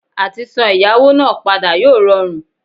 Àtisan ẹ̀yáwó náà padà yóò rọrùn